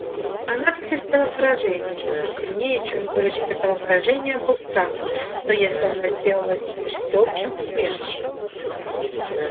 она потерпела поражение но сильнее чем горечь этого поражения был страх что если она сделалась теперь всеобщим посмешищем